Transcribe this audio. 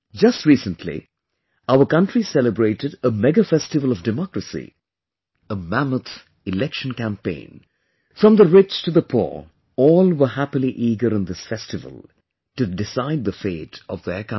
Just recently, our country celebrated a mega festival of democracy, a mammoth Election Campaign, from the rich to the poor, all were happily eager in this festival to decide the fate of their country